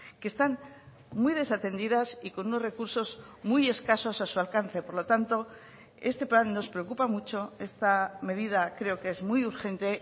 que están muy desatendidas y con unos recursos muy escasos a su alcance por lo tanto este plan nos preocupa mucho esta medida creo que es muy urgente